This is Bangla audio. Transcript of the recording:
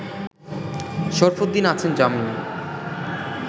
শরফুদ্দিন আছেন জামিনে